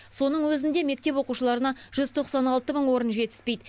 соның өзінде мектеп оқушыларына жүз тоқсан алты мың орын жетіспейді